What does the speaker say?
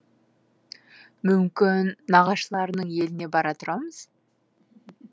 мүмкін нағашыларымның еліне бара тұрамыз